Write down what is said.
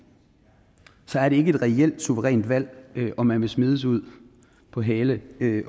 er det ikke et reelt suverænt valg om man vil smides ud på hale